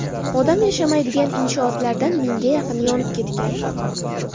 Odam yashamaydigan inshootlardan mingga yaqini yonib ketgan.